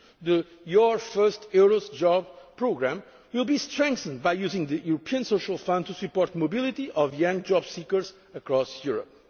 crucial. The Your First EURES Job' programme will be strengthened by using the European Social Fund to support mobility of young jobseekers across